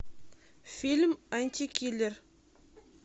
фильм антикиллер